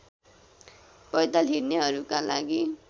पैदल हिँड्नेहरूका लागि